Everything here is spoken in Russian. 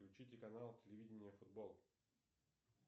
включите канал телевидение футбол